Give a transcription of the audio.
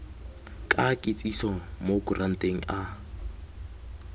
ka kitsiso mo kuranteng a